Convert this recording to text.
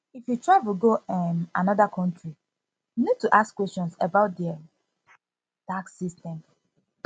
if you travel go um anoda country you need to ask question about um their tax system